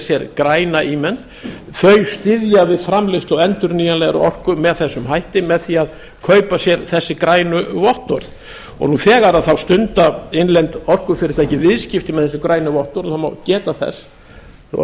sér græna ímynd þau styðja við framleiðslu á endurnýjanlegri orku með þessum hætti með því að kaupa sér þessi grænu vottorð nú þegar þá stunda innlend orkufyrirtæki viðskipti með þessi grænu vottorð og það má geta þess þó það kunni